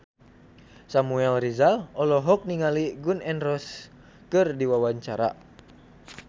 Samuel Rizal olohok ningali Gun N Roses keur diwawancara